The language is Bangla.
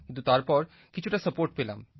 কিন্তু তারপর কিছুটা সাপোর্ট পেলাম